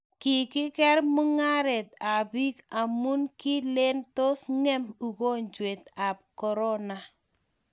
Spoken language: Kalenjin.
kikeker mungaret ab bik amun kilen tos ngem ukonjwet ab korona